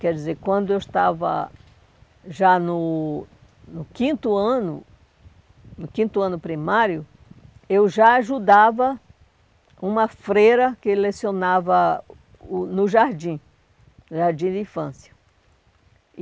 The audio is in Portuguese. Quer dizer, quando eu estava já no no quinto ano, no quinto ano primário, eu já ajudava uma freira que lecionava o no jardim, no jardim de infância.